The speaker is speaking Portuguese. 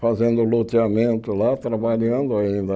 fazendo loteamento lá, trabalhando ainda.